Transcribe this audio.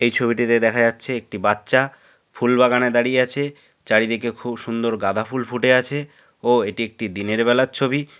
এই ছবিটিতে দেখা যাচ্ছে একটি বাচ্চা ফুল বাগানে দাঁড়িয়ে আছে চারিদিকে খুব সুন্দর গাঁদা ফুল ফুটে আছে ও এটি একটি দিনের বেলার ছবি।